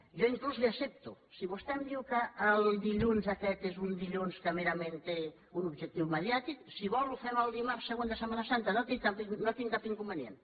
jo inclús li ho accepto si vostè em diu que el dilluns aquest és un dilluns que merament té un objectiu mediàtic si vol ho fem el dimarts següent de setmana santa no hi tinc cap inconvenient